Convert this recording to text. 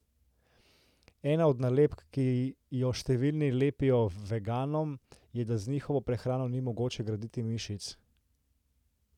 Ena od nalepk, ki jo številni lepijo veganom, je, da z njihovo prehrano ni mogoče graditi mišic.